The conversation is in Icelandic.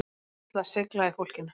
Það er náttúrulega seigla í fólkinu